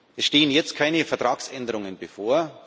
Es stehen jetzt keine Vertragsänderungen bevor.